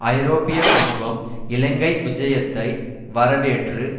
ஐரோப்பிய சமூகம் சோல்ஹெயிமின் இலங்கை விஜயத்தை வரவேற்று